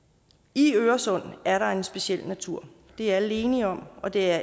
i øresund er der en speciel natur det er alle enige om og det er